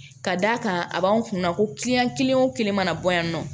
Ka d'a kan a b'an kunna ko kelen wo kelen mana bɔ yan nɔ